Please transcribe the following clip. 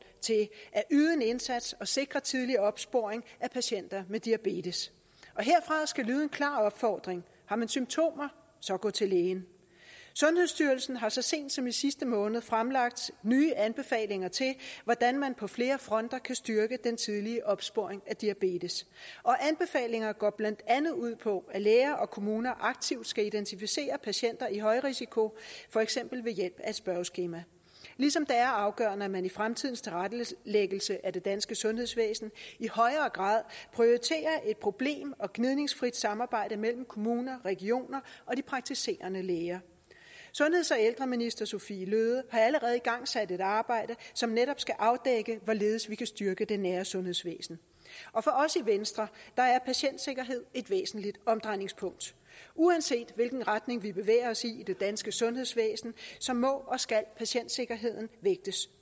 til at yde en indsats og sikre tidlig opsporing af patienter med diabetes og herfra skal lyde en klar opfordring har man symptomer så gå til lægen sundhedsstyrelsen har så sent som i sidste måned fremlagt nye anbefalinger til hvordan man på flere fronter kan styrke den tidlige opsporing af diabetes og anbefalingerne går blandt andet ud på at læger og kommuner aktivt skal identificere patienter i højrisiko for eksempel ved hjælp af et spørgeskema ligesom det er afgørende at man i fremtidens tilrettelæggelse af det danske sundhedsvæsen i højere grad prioriterer et problem og gnidningsfrit samarbejde mellem kommuner regioner og de praktiserende læger sundheds og ældreminister sophie løhde har allerede igangsat et arbejde som netop skal afdække hvorledes vi kan styrke det nære sundhedsvæsen og for os i venstre er patientsikkerhed et væsentligt omdrejningspunkt uanset hvilken retning vi bevæger os i i det danske sundhedsvæsen må og skal patientsikkerheden vægtes